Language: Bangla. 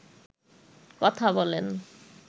কথা বলেন